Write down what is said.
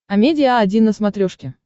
амедиа один на смотрешке